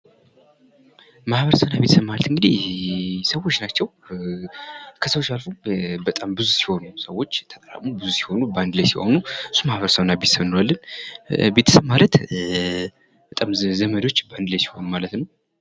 ማህበረሰብ እና ቤተሰብ ማለት እንግዲህ ሰዎች ናቸው ። ከሰዎች አልፎ በጣም ብዙ ሲሆኑ ሰዎች ተጠራቅመው ብዙ ሲሆኑ በአንድ ላይ ሲሆኑ እሱ ማህበረሰብ እና ቤተሰብ እለዋለሁ ። ቤተሰብ ማለት ዘመዶች በአንድ ላይ ሲሆኑ ማለት ።